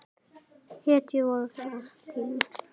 Hetju vorra tíma.